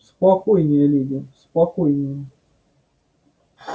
спокойнее леди спокойнее